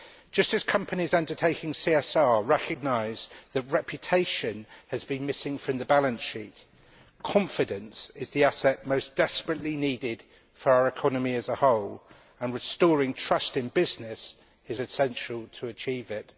Just as companies undertaking CSR recognise that reputation has been missing from the balance sheet, confidence is the asset most desperately needed for our economy as a whole and restoring trust in business is essential to achieving it.